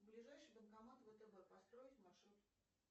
ближайший банкомат втб построить маршрут